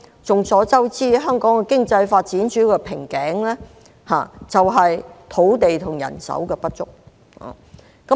眾所周知，香港的經濟發展主要的瓶頸在於土地和人手不足。